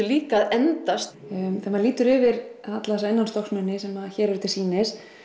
líka að endast þegar maður lítur yfir alla þessa innanstokksmuni sem hér eru til sýnis